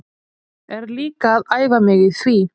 Er líka að æfa mig í því.